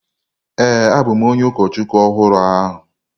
Ee, abụ m onye ụkọchukwu ọhụrụ ahụ.